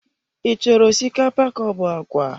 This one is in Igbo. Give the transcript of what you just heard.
I chọrọ osikapa kaobu agwa?